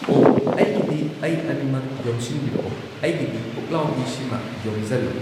ꯑꯣꯍ ꯑꯩꯒꯤꯗꯤ ꯑꯩ ꯑꯅꯤꯃꯛ ꯌꯣꯝꯁꯤꯟꯕꯤꯔꯛꯑꯣ ꯑꯩꯒꯤꯗꯤ ꯄꯨꯛꯂꯥꯎꯕꯤꯁꯤꯃ ꯌꯣꯝꯖꯜꯂꯣ